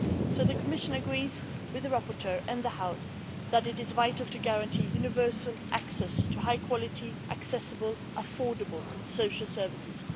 So the Commission agrees with the rapporteur and the House that it is vital to guarantee universal access to high quality, accessible, affordable social services.